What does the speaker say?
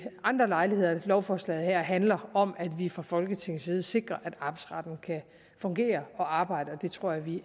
andre lejligheder lovforslaget her handler om at vi fra folketingets side sikrer at arbejdsretten kan fungere og arbejde og det tror jeg vi